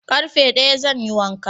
Ƙarfe daya zan yi wanka